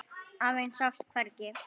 Afinn sást hvergi.